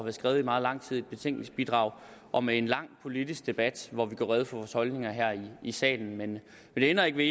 er skrevet i meget lang tid i et betænkningsbidrag og med en lang politisk debat hvor vi gør rede for vores holdninger her i salen men det ændrer ikke ved